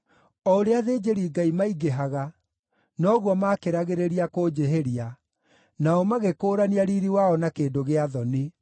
O ũrĩa athĩnjĩri-Ngai maingĩhaga, noguo maakĩragĩrĩria kũnjĩhĩria; nao magĩkũũrania riiri wao na kĩndũ gĩa thoni.